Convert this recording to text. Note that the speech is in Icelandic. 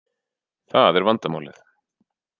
Það er vandamálið